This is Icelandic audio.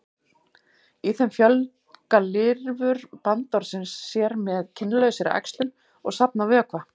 í þeim fjölga lirfur bandormsins sér með kynlausri æxlun og safna vökva